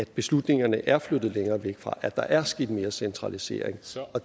beslutningerne er flyttet længere væk at der er sket mere centralisering